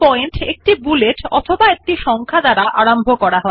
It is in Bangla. প্রতিটি পয়েন্ট একটি বুলেট অথবা একটি সংখ্যা দিয়ে আরম্ভ করা হয়